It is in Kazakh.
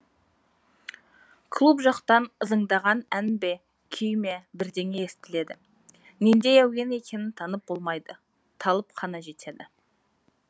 клуб жақтан ызыңдаған ән бе күй ме бірдеңе естіледі нендей әуен екенін танып болмайды талып қана жетеді